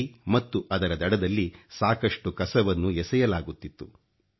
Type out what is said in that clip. ನದಿ ಮತ್ತು ಅದರ ದಡದಲ್ಲಿ ಸಾಕಷ್ಟು ಕಸವನ್ನು ಎಸೆಯಲಾಗುತ್ತಿತ್ತು